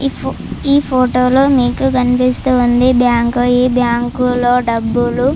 ఈ ఫోటో లో మీకు కనిపిస్తున్నది బ్యాంకు ఈ బ్యాంకు లు డబ్బులు --